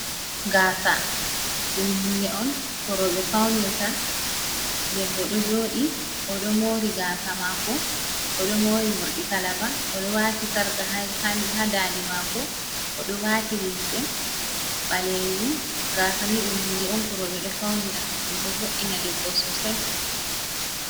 Gasa ɗum hunde on ko roɓe faunirta, debbo ɗo joɗi oɗo mori gasa mako, oɗo mori morɗi kalaba, oɗo wati sarka hadande mako, o ɗo wati lihce ɓalejum, gasa ni dum hunde on korobe do faunira ɗum ɗo voddina debbo sosai.